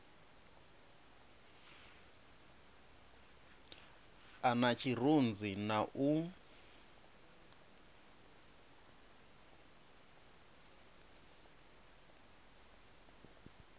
a na tshirunzi na u